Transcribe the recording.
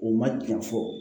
U ma janfa fɔlɔ